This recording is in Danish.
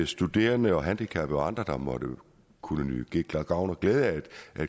studerende og handicappede og andre der måtte kunne få gavn og glæde af et